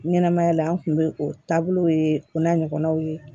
Ɲɛnɛmaya la an kun be o taabolow ye o n'a ɲɔgɔnnaw ye